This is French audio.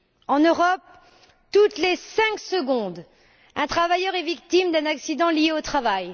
En Europe, toutes les cinq secondes, un travailleur est victime d'un accident du travail.